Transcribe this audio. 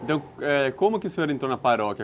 Então, é, como que o senhor entrou na paróquia?